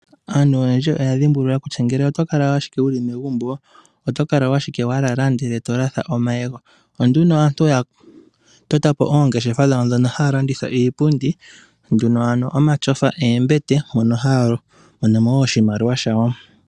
Aantu oyendji oya dhimbulula kutya ngele oto kala owala wu li megumbo oto kala ashike wa lala ndele to latha omayego. Opo nduno aantu oya tota po oongeshefa dhawo ndhono haya landitha iipundi yomatyofa noombete mono ha ya mono mo wo oshimaliwa shawo.